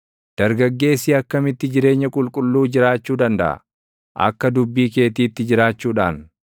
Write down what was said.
Dargaggeessi akkamitti jireenya qulqulluu jiraachuu dandaʼa? Akka dubbii keetiitti jiraachuudhaan.